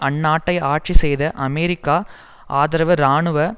அந்நாட்டை ஆட்சி செய்த அமெரிக்க ஆதரவு இராணுவ